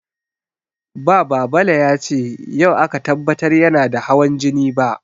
Ba Babale ya ce yau aka tabbatar yana da hawan jini ba.